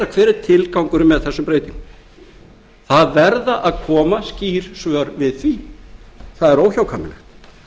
hver er tilgangurinn með þessum breytingum það verða að koma skýr svör við því það er óhjákvæmilegt